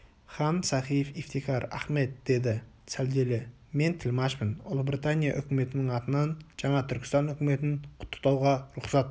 хан сахиб ифтекар ахмед деді сәлделі мен тілмашпын ұлыбритания үкіметінің атынан жаңа түркістан үкіметін құттықтауға рұхсат